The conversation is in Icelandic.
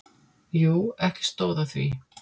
Jú, ekki stóð á því.